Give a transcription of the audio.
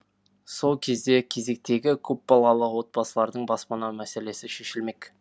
сол кезде кезектегі көпбалалы отбасылардың баспана мәселесі шешілмек